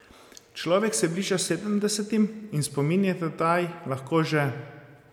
Človek se bliža sedemdesetim in spomin je tedaj lahko že...